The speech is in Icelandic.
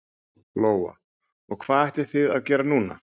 Lóa: Og hvað ætlið þið að gera núna?